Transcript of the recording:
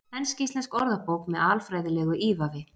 Ensk-íslensk orðabók með alfræðilegu ívafi.